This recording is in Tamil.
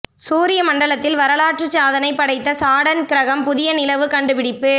சூரிய மண்டலத்தில் வரலாற்று சாதனை படைத்த சாடர்ன் கிரகம் புதிய நிலவு கண்டுபிடிப்பு